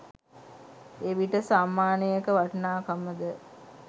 එවිට සම්මානයක වටිනාකම ද